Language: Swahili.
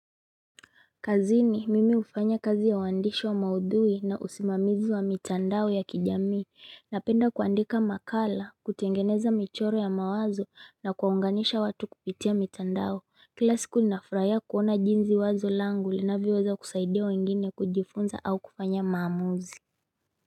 Kazini mimi hufanya kazi ya uandishi wa maudhui na usimamizi wa mitandao ya kijamii napenda kuandika makala kutengeneza michoro ya mawazo na kuwaunganisha watu kupitia mitandao kila siku nafurahia kuona jinsi wazo langu linavyoweza kusaidia wengine kujifunza au kufanya maamuzi.